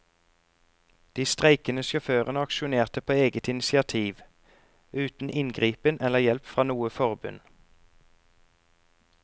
De streikende sjåførene aksjonerte på eget initiativ, uten inngripen eller hjelp fra noe forbund.